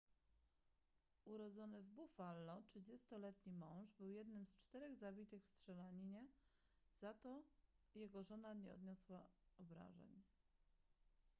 urodzony w buffalo 30-letni mąż był jednym z czterech zabitych w strzelaninie za to jego żona nie odniosła obrażeń